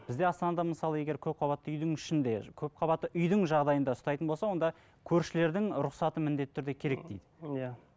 бізде астанада мысалы егер көпқабатты үйдің ішінде көпқабатты үйдің жағдайында ұстайтын болса онда көршілердің рұқсаты міндетті түрде керек дейді иә